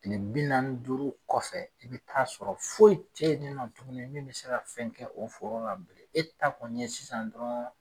kile bi naani ni duuru kɔfɛ i bi t'a sɔrɔ foyi teyininɔ tuguni min bɛ se ka fɛn kɛ o foro la e ta kɔni ye sisan dɔrɔn.